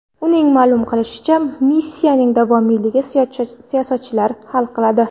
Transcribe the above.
Uning ma’lum qilishicha, missiyaning davomiyligini siyosatchilar hal qiladi.